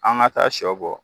An ga taa sɔ bɔ